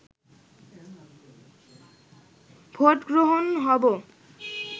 vote গ্রহণ হব